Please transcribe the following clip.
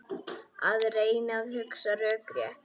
Að reyna að hugsa rökrétt